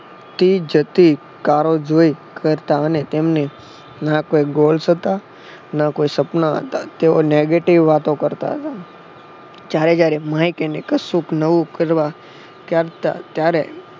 આવતી જતી કરો જોઈ કરતા અને તેમને ના કોઈ ગોલ્સ હતા ના કોઈ સપના હતા તેવો negative વાતો કરતા હતા. જયારે જયારે મને કઈને કશુંક નવું કરવા ત્યારે